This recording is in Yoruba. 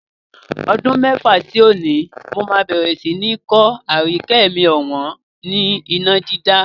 Ọdún mẹ́fà sí òní, mó máa bẹ̀rẹ̀ sí ni kọ́ Aríyìíkẹ́ mi ọ̀wọ́n ni iná dídá.